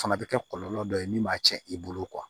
Fana bɛ kɛ kɔlɔlɔ dɔ ye min b'a cɛn i bolo